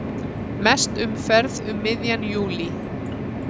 Mest umferð um miðjan júlí